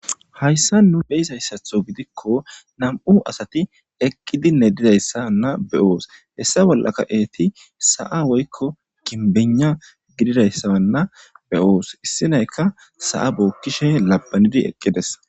hayssa nu beyzayssatho gidikko nam7u asati eqqidinne didayssa na be7oos hessa bollaka eeti sa7a woykko kinbena gididayssaanna beyoos issinayka sa7a bookkishe labanidi eqqides